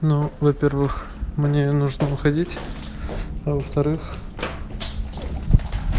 ну во-первых мне нужно выходить а во-вторых